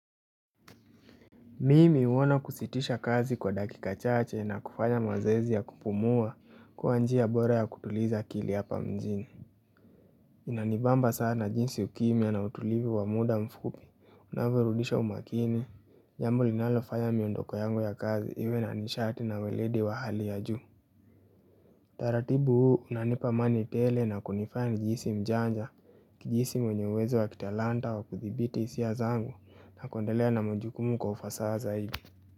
Mimi huona kusitisha kazi kwa dakika chache na kufanya mazoezi ya kupumua kuwa njia bora ya kutuliza kili hapa mjini Inanibamba sana jinsi ukimya na utulivu wa mda mfupi unavyorudisha umakini, jambo linalofanya miondoko yangu ya kazi iwe na nishati na weledi wa hali ya juu taratibu huu unanipa amani tele na kunifanya nijihisi mjanja nijihisi mwenye uwezo wa kitalanta wa kuthibiti hisia zangu na kuendelea na majukumu kwa ufasaha zaidi.